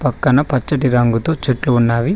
పక్కన పచ్చటి రంగుతో చెట్లు ఉన్నవి.